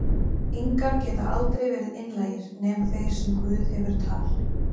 ingar geta aldrei verið einlægir, nema þeir sem guð hefur tal